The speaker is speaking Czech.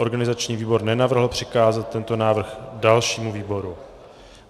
Organizační výbor nenavrhl přikázat tento návrh dalšímu výboru.